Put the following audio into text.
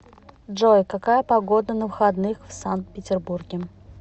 джой какая погода на выходных в сан петербурге